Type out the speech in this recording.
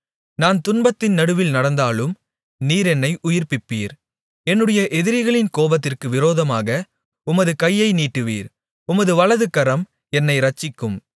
நான் துன்பத்தின் நடுவில் நடந்தாலும் நீர் என்னை உயிர்ப்பிப்பீர் என்னுடைய எதிரிகளின் கோபத்திற்கு விரோதமாக உமது கையை நீட்டுவீர் உமது வலதுகரம் என்னை இரட்சிக்கும்